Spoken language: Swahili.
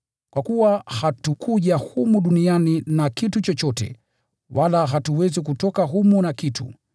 Kwa kuwa hatukuja humu duniani na kitu chochote, wala hatuwezi kutoka humu na kitu.